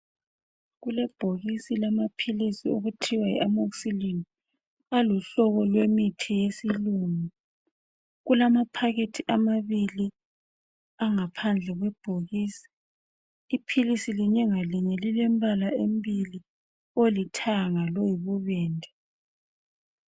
Kulebhokisi lamaphilisi okuthiwa yi amoxicillin. Aluhlobo lwemithi yesilungu. Kulamaphakethi amabili angaphandle kwebhokisi. Iphilisi linye ngalinye lilemibala emibili, olithanga loyibubende.